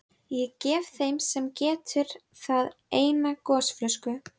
Þess vegna örvar selta í vatninu tæringuna.